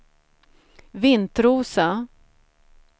Vintrosa